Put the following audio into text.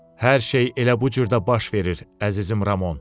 Hər şey elə bu cür də baş verir, əzizim Ramon.